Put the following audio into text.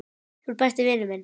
Þú ert besti vinur minn.